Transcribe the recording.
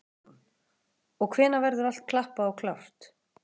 Hugrún: Og hvenær verður allt klappað og klárt?